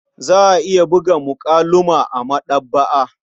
Za a iya buga muƙalu ma a maɗaba'a.